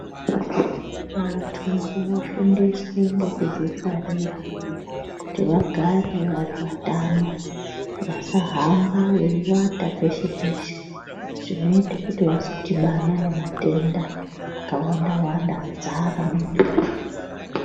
Vantu ngavafundiswe ngekudzingwarira kuti vagare vari vatano. Vasahamba veiwata peshe-peshe zvinoite kuti vazodhibana nematenda akawanda-wanda adzara munyika.